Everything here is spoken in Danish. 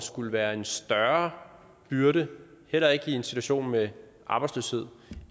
skulle være en større byrde heller ikke i en situation med arbejdsløshed